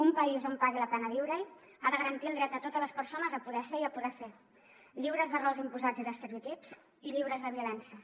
un país on pagui la pena viure ha de garantir el dret de totes les persones a poder ser i a poder fer lliures de rols imposats i d’estereotips i lliures de violències